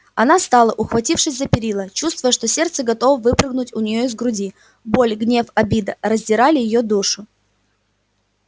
она стала ухватившись за перила чувствуя что сердце готово выпрыгнуть у нее из груди боль гнев обида раздирали её душу